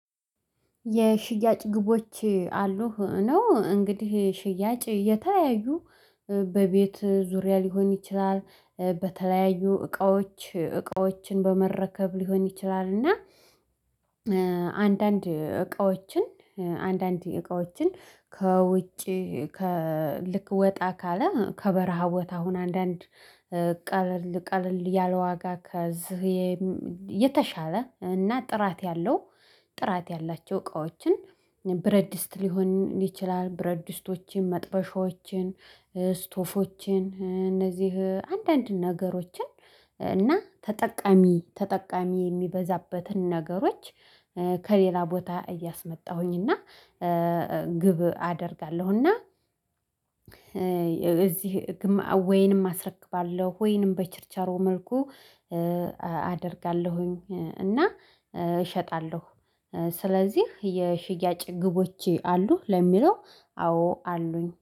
የሽያጭ ግቦች አሉ። ነው እንግዲህ ሽያጭ የተለያዩ በቤት ዙሪያ ሊሆን ይችላል በተለያዩ እቃዎች እቃዎችን በመረከብ ሊሆን ይችላል። እና አንዳንድ እቃዎችን አንዳንድ እቃዎችን ከውጪ ከልክ ወጣ ካለ ከበረሃ ቦታ ሆነ አንዳንድ ቀለል ቀለል ያለ ዋጋ ከዚህ የተሻለ እና ጥራት ያለው ጥራት ያላቸው እቃዎችን ብረት ድስት ሊሆን ይችላል። አል ብረት ድስቶችን መጥበሻዎችን ስቶፎችን እነዚህ አንዳንድ ነገሮችን እና ተጠቃሚ ተጠቃሚ የሚበዛበትን ነገሮች። ከሌላ ቦታ እያስመጣሁኝ እና ግብ አደርጋለሁና። እና እዚህ ወይንም አስረክባለሁ ወይንም በቸርቻሮሩ መልኩ አደርጋለሁኝ። እና እሸጣለሁ። ስለዚህ የሽያጭ ግቦች አሉ ለሚለው አዎ አሉኝ